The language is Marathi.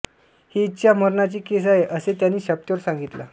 हि इच्छा मरणाची केस आहे असे त्यांनी शपथेवर सांगितलं